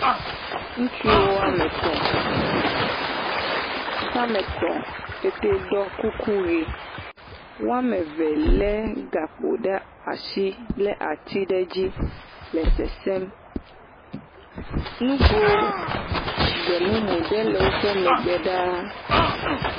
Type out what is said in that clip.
Ŋutsu woame etɔ̃, woƒe ame etɔ̃ woɖɔ kuku ye, woame eve lé gakpo ɖe asi lé ati ɖe edzi le sesẽm, ŋgo gbe mumu aɖe le woƒe megbe ɖaa.